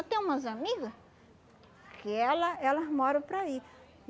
Eu tenho umas amigas que ela elas moram para aí.